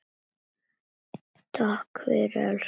Takk fyrir að elska mig.